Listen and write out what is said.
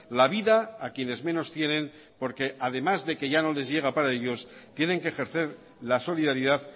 la vida a quienes menos tienen porque además de que ya no les llega para ellos tienen que ejercer la solidaridad